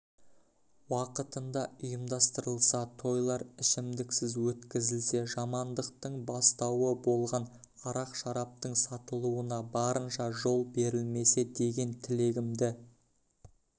уақытында ұйымдастырылса тойлар ішімдіксіз өткізілсе жамандықтың бастауы болған арақ-шараптың сатылуына барынша жол берілмесе деген тілегімді